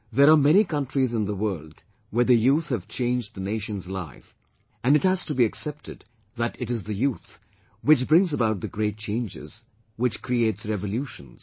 There are many countries in the world where the youth have changed the nation's life and it has to be accepted that it is the youth which brings about the great changes, which creates revolutions